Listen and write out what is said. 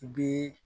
I bi